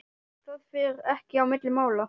Það fer ekki á milli mála.